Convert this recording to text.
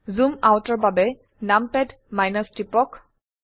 জুম আউটৰ বাবে নামপাদ টিপক